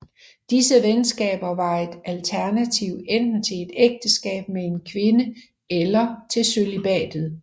Disse venskaber var et alternativ enten til et ægteskab med en kvinde eller til cølibatet